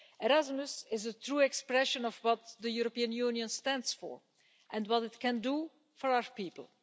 Erasmus is a true expression of what the European Union stands for and what it can do for our people.